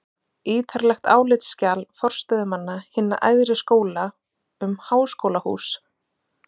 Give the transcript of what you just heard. ítarlegt álitsskjal forstöðumanna hinna æðri skóla um háskólahús